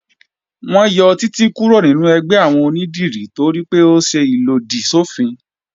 Wọ́n yọ Títí kúrò nínú ẹgbẹ́ àwọn onídìrí toripé ó ṣe ìlòdì sọ́fin